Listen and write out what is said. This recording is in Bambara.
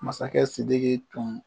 Masakɛ Sidiki tun